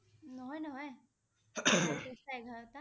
নহয় নহয় দহটা এঘাৰটা